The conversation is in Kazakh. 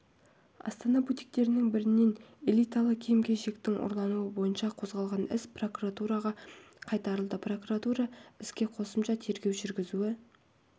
астана бутиктерінің бірінен элиталы киім-кешектің ұрлануы бойынша қозғалған іс прокуратураға қайтарылды прокуратура іске қосымша тергеу жүргізуі